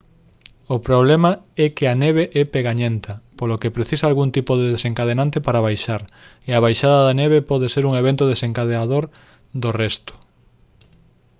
o problema é que a neve é pegañenta polo que precisa algún tipo de desencadeante para baixar e a baixada da neve pode ser un evento desencadeador do resto